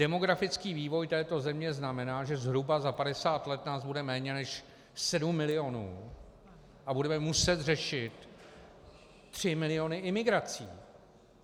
Demografický vývoj této země znamená, že zhruba za 50 let nás bude méně než 7 milionů a budeme muset řešit 3 miliony imigrací.